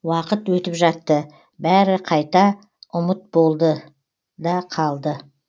уақыт өтіп жатты бәрі қайта ұмыт болды да қалды